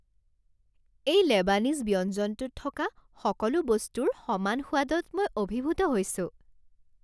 এই লেবানিজ ব্যঞ্জনটোত থকা সকলো বস্তুৰ সমান সোৱাদত মই অভিভূত হৈছোঁ।